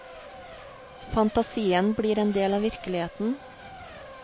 Fantasien blir en del av virkeligheten.